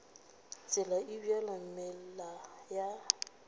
tsela e bjalo meela ya